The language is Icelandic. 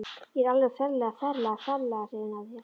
Ég er alveg ferlega, ferlega, ferlega hrifinn af þér.